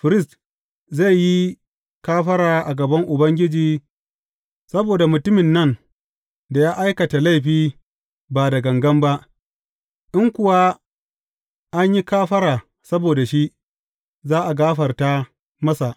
Firist zai yi kafara a gaban Ubangiji saboda mutumin nan da ya aikata laifi ba da gangan ba, in kuwa an yi kafara saboda shi, za a gafarta masa.